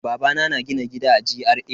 Babana na gina gida a GRA.